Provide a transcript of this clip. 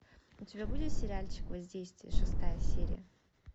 у тебя будет сериальчик воздействие шестая серия